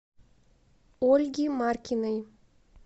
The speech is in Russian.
ольги маркиной